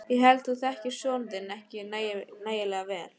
Ég held þú þekkir son þinn ekki nægilega vel.